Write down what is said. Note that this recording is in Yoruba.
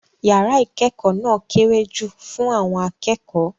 Yàrá ìkẹ́kọ̀ọ́ náà kéré jù fún àwọn akẹ́kọ̀ọ́.